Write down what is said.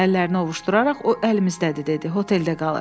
Əllərini ovuşduraraq o əlimizdədir dedi, hotelə qalır.